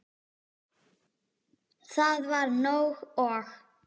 Það var nóg. og.